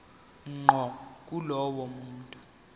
ngqo kulowo muntu